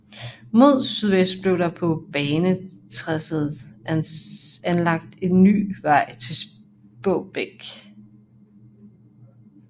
Mod sydvest blev der på banetracéet anlagt en ny vej til Spåbæk